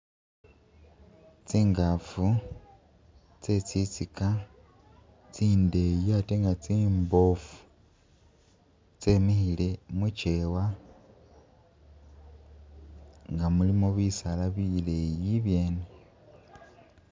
tsingafu tse tsitsika tsindeyi ate nga tsimbofu tsemihile mu kyewa nga mulimo bisaala bileyi ibyene